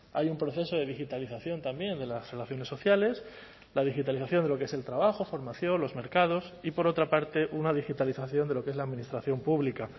hay un proceso de digitalización también de las relaciones sociales la digitalización de lo que es el trabajo formación los mercados y por otra parte una digitalización de lo que es la administración pública